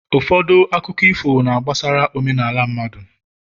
ụfọdụ akụkọ ifo na-akọ gbasara omenala mmadụ